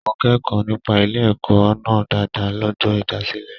Mo kẹkọọ nípa ilé ẹ̀kọ́ náà dáadáa l'ọjọ ìdásílẹ̀.